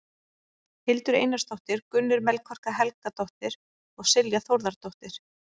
Hildur Einarsdóttir, Gunnur Melkorka Helgadóttir og Silja Þórðardóttir.